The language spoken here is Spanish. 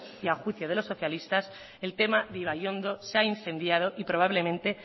y a juicio de los socialistas el tema de ibaiondo se ha incendiado y probablemente